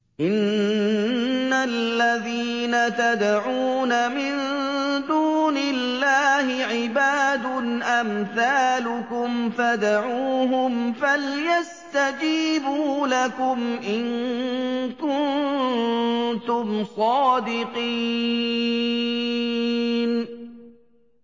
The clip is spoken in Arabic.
إِنَّ الَّذِينَ تَدْعُونَ مِن دُونِ اللَّهِ عِبَادٌ أَمْثَالُكُمْ ۖ فَادْعُوهُمْ فَلْيَسْتَجِيبُوا لَكُمْ إِن كُنتُمْ صَادِقِينَ